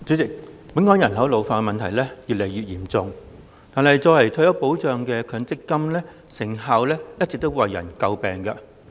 代理主席，本港人口老化問題越來越嚴重，但作為退休保障的強制性公積金制度的成效一直為人詬病。